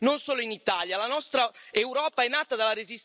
I will say this in English because you might listen to me.